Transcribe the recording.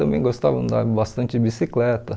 Também gostava andar bastante de bicicleta.